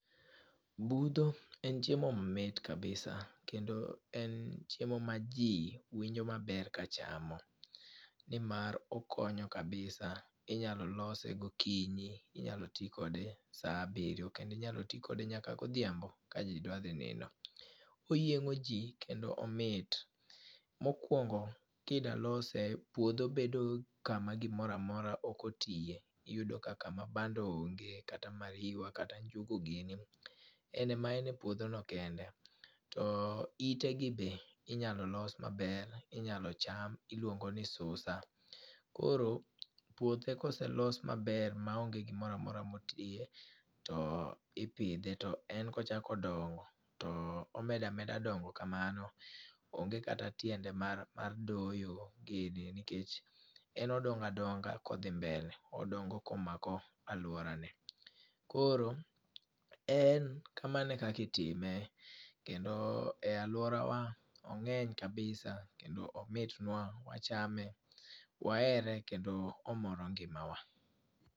Budho en chiemo mamit kabisa, kendo en chiemo ma ji winjo maber ka chamo. Ni mar okonyo kabisa, inyalo lose gokinyi, inyalo ti kode sa abiriyo, kendo inyalo ti kode nyaka godhiambo ka ji dwa dhi nindo. Oyiengó ji kendo omit. Mokwongo kidwa lose, puodho bedo kama gimora mora ok otiye. Iyudo ka kama bando onge, kata mariwa kata njugu gini. En ema en e puodho no kende. To ite gi bende, inyalo los maber, inyalo cham, iluongo ni susa. Koro puothe ka oselos maber ma onge gimoramora matiye to ipidhe. To en kochako dongo to omeda meda dongo kamano. Onge kata tiende mar doyo gini, nikech en odongo a donga kodhi mbele. Odongo komako alworane. Koro en kamano e kaka itime. Kendo e alworawa ongény kabisa, kendo omitnwa, wachame, wahere kendo omoro ngimawa.